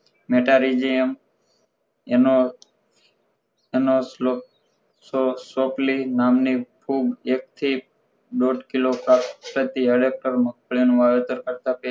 metarhizium જેમ એનો એનો સ્લો સો સોકલી નામની ફૂગ એક થી દોઢ કિલો પ્રતિ એડેપ્ટરે મકાઇ નું વાવેતર કરતાં